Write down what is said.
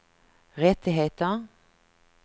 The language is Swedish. rättigheter